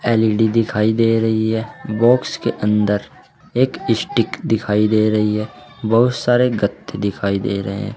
L E D दिखाई दे रही है बॉक्स के अंदर एक स्टीक दिखाई दे रही है बहुत सारे गत्ते दिखाई दे रहे हैं।